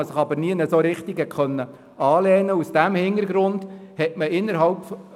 Man konnte sich nicht an etwas anlehnen.